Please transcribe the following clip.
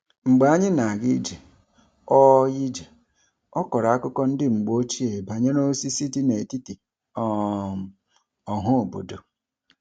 Mgbe anyị na-aga ije, ọ ije, ọ kọrọ akụkọ ndị mgbe ochie banyere osisi dị n'etiti um ọhaobodo.